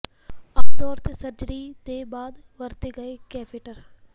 ਆਮ ਤੌਰ ਤੇ ਸਰਜਰੀ ਦੇ ਬਾਅਦ ਵਰਤੇ ਗਏ ਕੈਫੇਟਰ